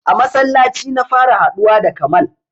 A masallaci na fara haɗuwa da kamal